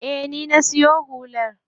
Eh, ni na siyo hular.